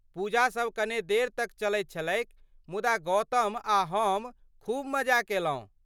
पूजासभ कने देर तक चलैत छलैक मुदा गौतम आ हम खूब मजा कयलहुँ।